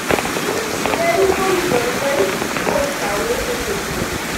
Ng'eny kuom jolweny kuom sani osechopo